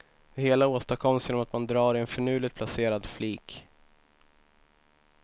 Det hela åstadkoms genom att man drar i en finurligt placerad flik.